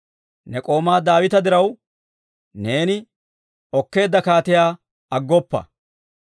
Ne k'oomaa Daawita diraw, neeni okkeedda kaatiyaa aggoppa.